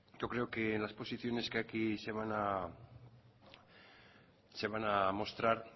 yo creo que en la posiciones que aquí se van a mostrar